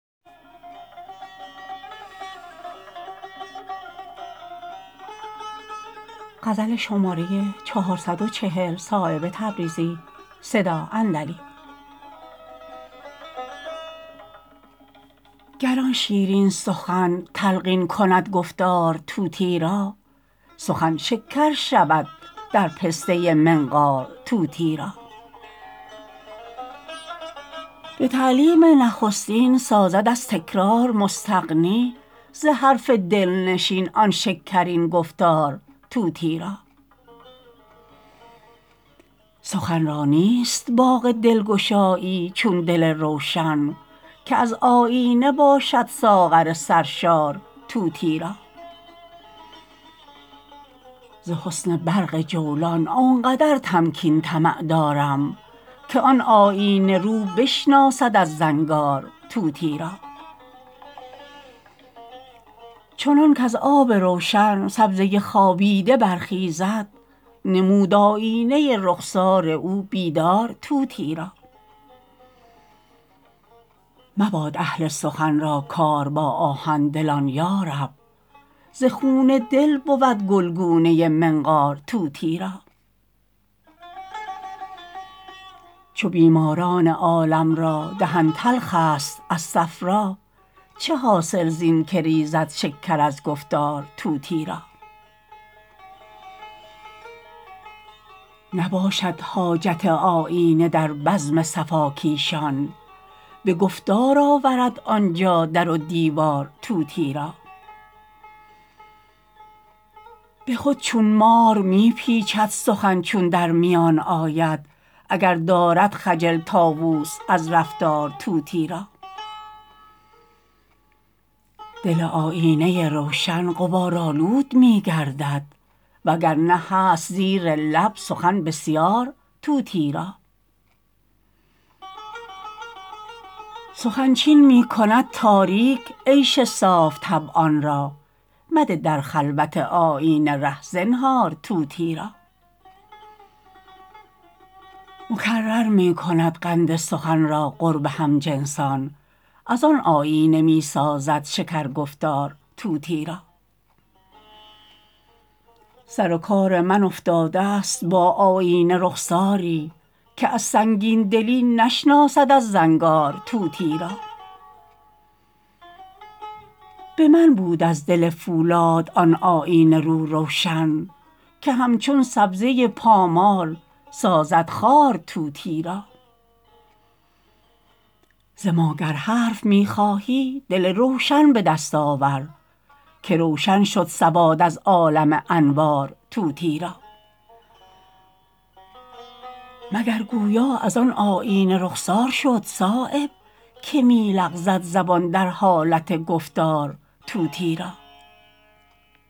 گر آن شیرین سخن تلقین کند گفتار طوطی را سخن شکر شود در پسته منقار طوطی را به تعلیم نخستین سازد از تکرار مستغنی ز حرف دلنشین آن شکرین گفتار طوطی را سخن را نیست باغ دلگشایی چون دل روشن که از آیینه باشد ساغر سرشار طوطی را ز حسن برق جولان آن قدر تمکین طمع دارم که آن آیینه رو بشناسد از زنگار طوطی را چنان کز آب روشن سبزه خوابیده برخیزد نمود آیینه رخسار او بیدار طوطی را مباد اهل سخن را کار با آهن دلان یارب ز خون دل بود گلگونه منقار طوطی را چو بیماران عالم را دهن تلخ است از صفرا چه حاصل زین که ریزد شکر از گفتار طوطی را نباشد حاجت آیینه در بزم صفاکیشان به گفتار آورد آنجا در و دیوار طوطی را به خود چون مار می پیچد سخن چون در میان آید اگر دارد خجل طاوس از رفتار طوطی را دل آیینه روشن غبارآلود می گردد وگرنه هست زیر لب سخن بسیار طوطی را سخن چین می کند تاریک عیش صاف طبعان را مده در خلوت آیینه ره زنهار طوطی را مکرر می کند قند سخن را قرب همجنسان ازان آیینه می سازد شکر گفتار طوطی را سر و کار من افتاده است با آیینه رخساری که از سنگین دلی نشناسد از زنگار طوطی را به من بود از دل فولاد آن آیینه رو روشن که همچون سبزه پامال سازد خوار طوطی را ز ما گر حرف می خواهی دل روشن به دست آور که روشن شد سواد از عالم انوار طوطی را مگر گویا ازان آیینه رخسار شد صایب که می لغزد زبان در حالت گفتار طوطی را